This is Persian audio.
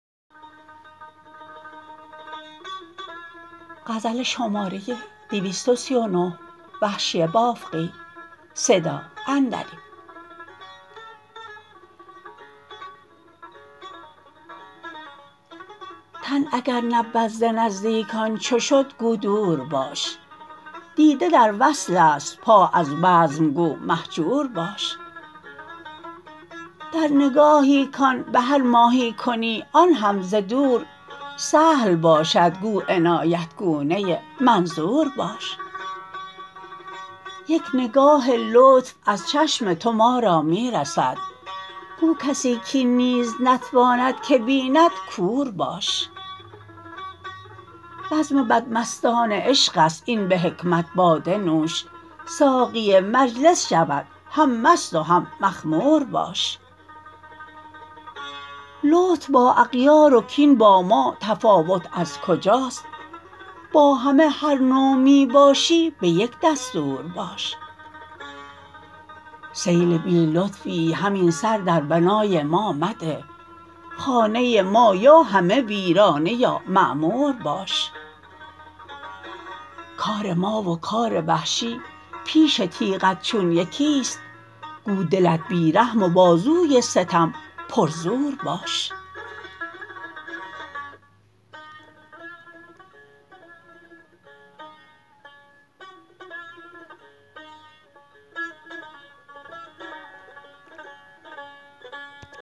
تن اگر نبود ز نزدیکان چو شد گو دور باش دیده در وصل است پا از بزم گو مهجور باش در نگاهی کان به هر ماهی کنی آنهم ز دور سهل باشد گو عنایت گونه منظور باش یک نگاه لطف از چشم تو ما را می رسد گو کسی کاین نیز نتواند که بیند کور باش بزم بدمستان عشق است این به حکمت باده نوش ساقی مجلس شود هم مست و هم مخمور باش لطف با اغیار و کین با ما تفاوت از کجاست با همه هر نوع می باشی به یک دستور باش سیل بی لطفی همین سر در بنای ما مده خانه ما یا همه ویرانه یا معمور باش کار ما و کار وحشی پیش تیغت چون یکیست گو دلت بی رحم و بازوی ستم پر زور باش